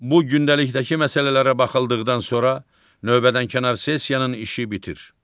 Bu gündəlikdəki məsələlərə baxıldıqdan sonra növbədənkənar sessiyanın işi bitir.